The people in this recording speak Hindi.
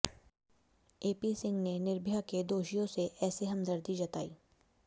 एपी सिंह ने निर्भया के दोषियों से ऐसे हमदर्दी जताई